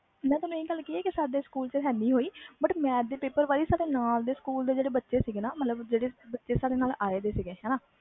ਸਾਡੇ ਸਕੂਲ ਵਿਚ ਹੈ ਨਹੀਂ but math ਦੇ ਪੇਪਰ ਵਿਚ ਨਾ ਸਾਡੇ ਨਾਲ ਦੇ ਸਕੂਲ ਦੇ ਬੱਚੇ ਜਿਹੜੇ